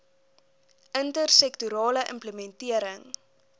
inter sektorale implementering